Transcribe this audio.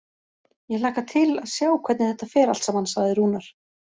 Ég hlakka til að sjá hvernig þetta fer allt saman, sagði Rúnar.